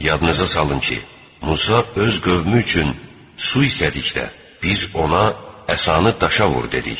Yadınıza salın ki, Musa öz qövmü üçün su istədikdə biz ona əsanı daşa vur dedik.